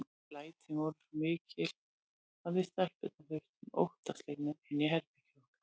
Lætin voru svo mikil að við stelpurnar þutum óttaslegnar inn í herbergið okkar.